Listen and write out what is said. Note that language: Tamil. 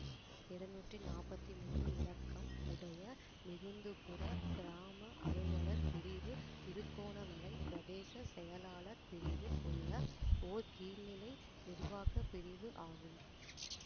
இருநூற்றி நாப்பத்தி மூனு இலக்கம் உடைய மிகுந்துபுர கிராம அலுவலர் பிரிவு திருகோணமலை பிரதேச செயலாளர் பிரிவில் உள்ள ஓர் கீழ்நிலை நிர்வாக பிரிவு ஆகும்